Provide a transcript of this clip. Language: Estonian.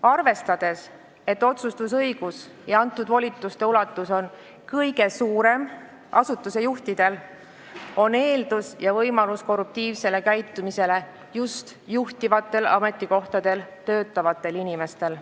Arvestades, et otsustusõigus ja antud volituste ulatus on kõige suuremad asutuse juhtidel, on eeldus ja võimalus korruptiivselt käituda just juhtival ametikohal töötavatel inimestel.